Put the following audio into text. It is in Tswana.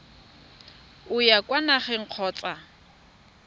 o ya kwa nageng kgotsa